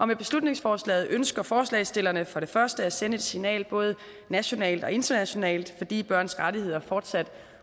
med beslutningsforslaget ønsker forslagsstillerne for det første at sende et signal både nationalt og internationalt fordi børns rettigheder fortsat